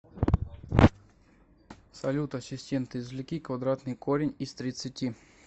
салют ассистент извлеки квадратный корень из тридцати